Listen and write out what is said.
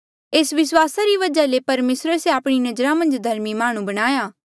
एस विस्वासा री वजहा ले परमेसरे से आपणी नजरा मन्झ धर्मी माह्णुं बणाया